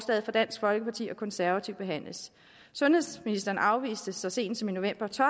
fra dansk folkeparti og konservative behandles sundhedsministeren afviste så sent som i november to